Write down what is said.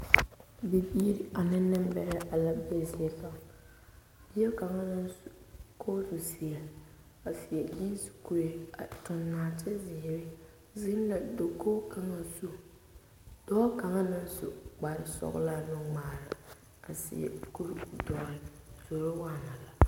Bibiiri ane nembɛrɛ la be zie kaŋ bie kaŋa naŋ su kootu zeɛ a seɛ gyiisi kuree a tuŋ nɔɔtezeere zeŋ la dakogi kaŋa zu dɔɔ kaŋa naŋ su kparesɔglaa nuŋmaara a seɛ kuridɔre zoro waana la.